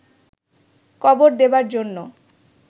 কবর দেবার জন্য